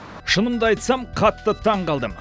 шынымды айтсам қатты таңғалдым